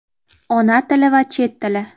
Ona tili va Chet tili.